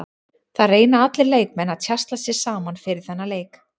Það reyna allir leikmenn að tjasla sér saman fyrir þennan leik.